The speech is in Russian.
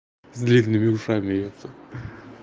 с длинными ушами эта